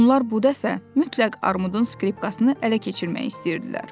Onlar bu dəfə mütləq Armudun skripkasını ələ keçirmək istəyirdilər.